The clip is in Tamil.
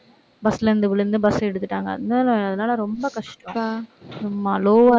bus ல இருந்து விழுந்து bus அ எடுத்துட்டாங்க. அதனால, அதனால ரொம்ப கஷ்டம் சும்மா low ஆ